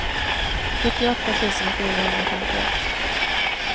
sjuttioåtta tusen fyrahundrafemtioett